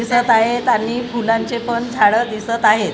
दिसत आहेत आणि फुलांचे पण झाडं दिसत आहेत.